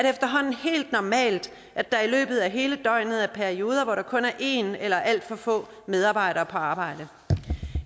efterhånden helt normalt at der i løbet af hele døgnet er perioder hvor der kun er en eller alt for få medarbejdere på arbejde